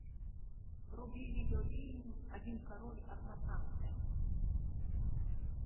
вруби видеофильм один король одна франция